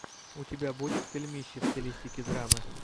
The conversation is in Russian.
у тебя будет фильмище в стилистике драмы